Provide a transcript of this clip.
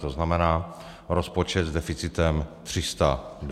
To znamená rozpočet s deficitem 320 mld.